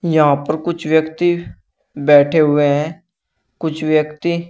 यहां पर कुछ व्यक्ति बैठे हुए हैं कुछ व्यक्ति--